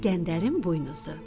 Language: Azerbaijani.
İskəndərin buynuzu.